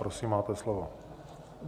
Prosím, máte slovo.